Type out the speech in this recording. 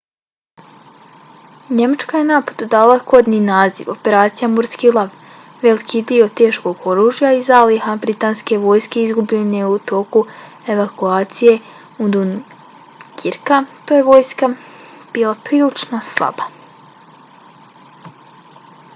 njemačka je napadu dala kodni naziv operacija morski lav . veliki dio teškog oružja i zaliha britanske vojske izgubljen je u toku evakuacije iz dunkirka te je vojska bila prilično slaba